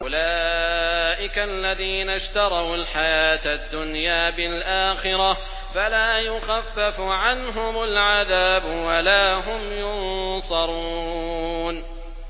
أُولَٰئِكَ الَّذِينَ اشْتَرَوُا الْحَيَاةَ الدُّنْيَا بِالْآخِرَةِ ۖ فَلَا يُخَفَّفُ عَنْهُمُ الْعَذَابُ وَلَا هُمْ يُنصَرُونَ